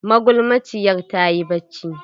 Magulmaciyar ta yi bacci.